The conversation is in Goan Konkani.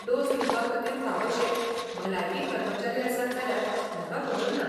डोस दिवपाखातीर फावशे भलायकी कर्मचारी आसात जाल्यार म्हाका खबर ना.